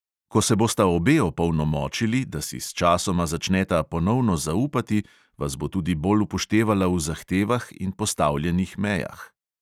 Ko se bosta obe opolnomočili, da si sčasoma začneta ponovno zaupati, vas bo tudi bolj upoštevala v zahtevah in postavljenih mejah.